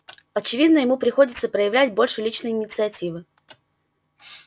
очевидно ему приходится проявлять больше личной инициативы